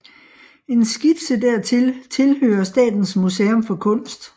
En skitse dertil tilhører Statens Museum for Kunst